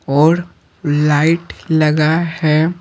औरलाइट लगा है।